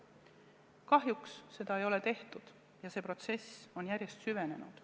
Kahjuks seda ei ole tehtud ja see protsess on järjest süvenenud.